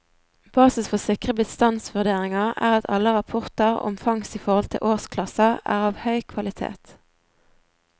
Basis for sikre bestandsvurderinger er at alle rapporter om fangst i forhold til årsklasser er av høy kvalitet.